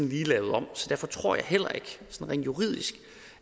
lige lavet om så derfor tror jeg heller ikke